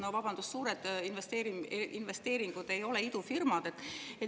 No, vabandust, suured investeeringud ei ole idufirmad.